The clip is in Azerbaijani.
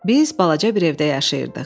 Biz balaca bir evdə yaşayırdıq.